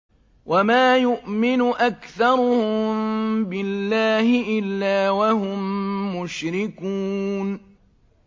وَمَا يُؤْمِنُ أَكْثَرُهُم بِاللَّهِ إِلَّا وَهُم مُّشْرِكُونَ